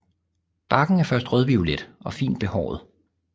Barken er først rødviolet og fint behåret